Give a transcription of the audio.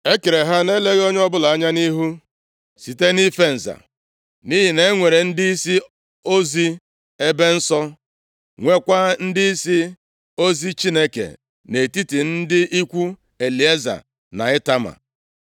E kere ha na-eleghị onye ọbụla anya nʼihu, site nʼife nza, nʼihi na e nwere ndịisi ozi ebe nsọ, nweekwa ndịisi ozi Chineke nʼetiti ndị ikwu Elieza na Itama.